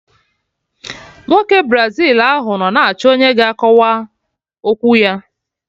Nwoke Brazil ahụ nọ na-achọ ọnyá ga akọwa okwu ya